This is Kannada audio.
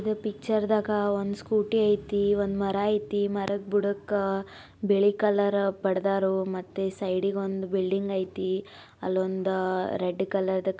ಪಿಕ್ಚರ್ದಾ ಗ ಒಂದ್ ಸ್ಕೂಟಿ ಐತಿ ಒಂದ್ ಮರಾ ಐತಿ ಮರದ್ ಬುಡಕ ಬಿಳಿ ಕಲರ ಬಡ್ದಾರು ಮತ್ತೆ ಸೈಡಿ ಗೊಂದ್ ಬಿಲ್ಡಿಂಗ್ ಐತಿ ಅಲ್ಲೊಂದ ರೆಡ್ ಕಲರ್ದ್ --